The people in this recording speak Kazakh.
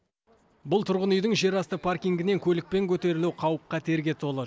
бұл тұрғын үйдің жерасты паркингінен көлікпен көтерілу қауіп қатерге толы